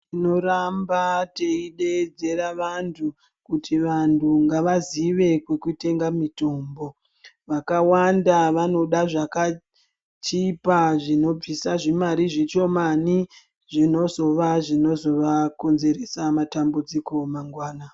Tinoramba reideedzera vantu kuti ngavazive kunotengeswa mutombo vakawanda vanoda zvakachipa zvinobvisa zvimari zvishomani zvinozova zvinovakonzeresa matambudziko mangwana.